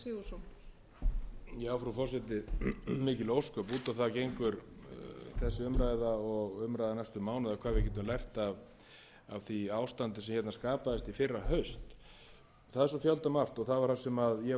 svo fjöldamargt og það var að sem ég var að leggja upp áðan í minni ræðu og ég hef gert í greinum í blöðum og svo framvegis þó að slíkar umfjallanir séu mjög seint tæmandi að